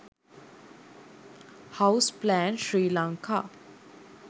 house plan sri lanka